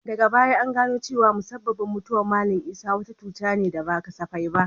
Daga baya an gano cewa musabbabin mutuwar Mallam Isah wata cuta ce da ba kasafai ba.